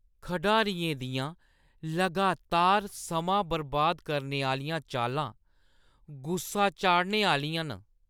खढारियें दियां लगातार समां बर्बाद करने आह्‌लियां चालां गुस्सा चाढ़ने आह्‌लियां न।